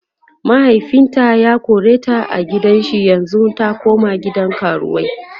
mahaifinta ya koreta a gidan shi yanzun ta koma gidan karuwai